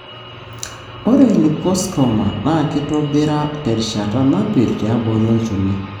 ore liposarcoma na kitobira terishata napir tiabori olchoni.